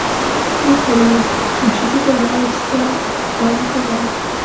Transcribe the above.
михаил включите пожалуйста рен тв